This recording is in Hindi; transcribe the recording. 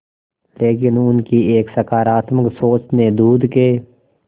लेकिन उनकी एक सकरात्मक सोच ने दूध के